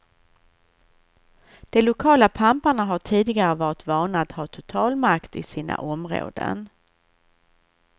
De lokala pamparna har tidigare varit vana att ha total makt i sina områden.